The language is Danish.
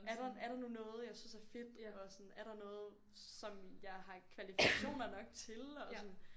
Er der er der nu noget jeg synes er fedt og sådan er der noget som jeg har kvalifikationer nok til og sådan